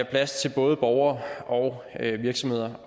plads til både borgere og virksomheder